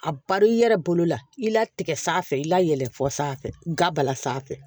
A bari i yɛrɛ bolo la i latigɛ sanfɛ i la yɛlɛ fɔ sanfɛ ga bala sanfɛ